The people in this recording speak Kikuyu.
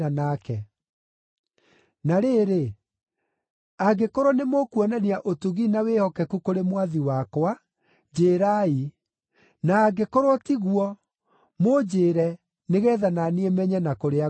Na rĩrĩ, angĩkorwo nĩ mũkuonania ũtugi na wĩhokeku kũrĩ mwathi wakwa, njĩĩrai; na angĩkorwo tiguo, mũnjĩĩre nĩgeetha na niĩ menye na kũrĩa ngũrora.”